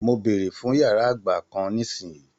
Mo bèrè fún yàrá àgbà kán nisinyi!